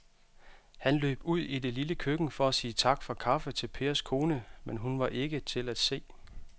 Han løb ud i det lille køkken for at sige tak for kaffe til Pers kone, men hun var ikke til at se.